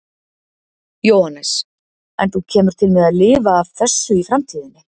Jóhannes: En þú kemur til með að lifa af þessu í framtíðinni?